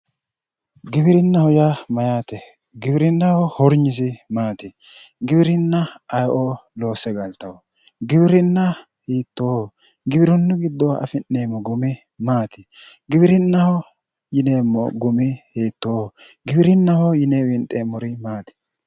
Giwirinnaho yaa mayyaate? Giwirinnaho hornyisi maati? Girinna aye"o loosse galtawo? Giwirinna hiittooho? Giwirinnu gidddo afi'neemmo gumi maati? Giwirinnaho yineemmo gumi hiittooho? giwirinnaho yine winxeemmo gumi maati?